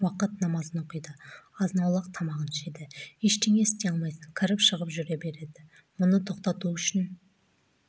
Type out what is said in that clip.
уақыт намазын оқиды азын-аулақ тамағын ішеді ештеңе істей алмайсың кіріп-шығып жүре береді мұны тоқтату үшін